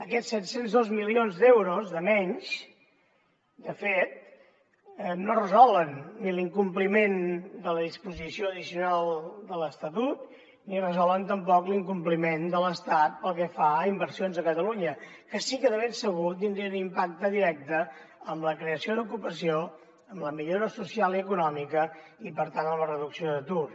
aquests set cents i dos milions d’euros de menys de fet no resolen ni l’incompliment de la disposició addicional de l’estatut ni resolen tampoc l’incompliment de l’estat pel que fa a inversions a catalunya que sí que de ben segur tindrien impacte directe en la creació d’ocupació en la millora social i econòmica i per tant en la reducció d’atur